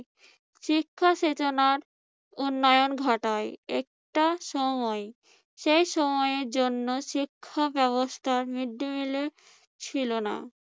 শিক্ষা শোচনার উন্নয়ন ঘটায় একটা সময়, সে সময়ের জন্য শিক্ষা ব্যবস্থার মৃদ্দিমিলের ছিল না।